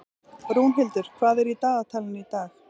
Rúnhildur, hvað er í dagatalinu í dag?